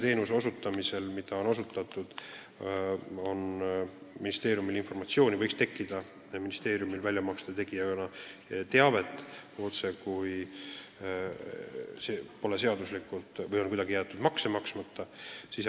Ma soovisin nimelt kontrollida informatsiooni, et selle teenuse osutamise eest väljamaksete puhul on otsekui seadust rikutud, näiteks on kuidagi jäetud makse maksmata.